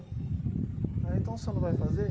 Ah, então você não vai fazer?